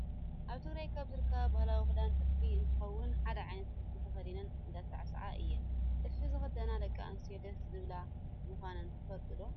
ኣብ ትግራይ ካብ ዝርከብ ባህላዊ ክዳን ጥልፊ እንትከውን፣ ሓደ ዓይነት ጥልፊ ተከዲነን እንዳሳዕሳዓ እየን። ጥልፊ ዝክደና ደቂ ኣንስትዮ ደስ ዝብላ ምኳነን ትፈልጡ ዶ?